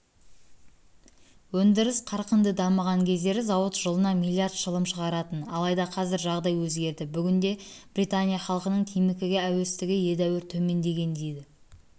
өндіріс қарқынды дамыған кездері зауыт жылына миллиард шылым шығаратын алайда қазір жағдай өзгерді бүгінде британия халқының темекіге әуестігі едәуір төмендеген дейді